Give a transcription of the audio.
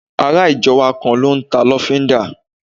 Ará ìjọ wa kan n ta lọ́fíndà